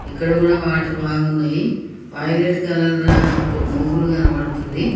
ఇక్కడ కూడా వాటర్ బాగున్నాయి వైలెట్ కలర్ లో మబ్బులు కనబడుతుంది.